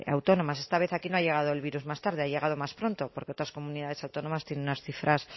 autónomas esta vez aquí no ha llegado el virus más tarde ha llegado más pronto porque otras comunidades autónomas tienen unas cifras